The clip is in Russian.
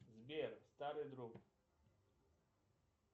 сбер старый друг